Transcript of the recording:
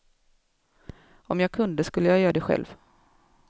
Om jag kunde skulle jag göra det själv.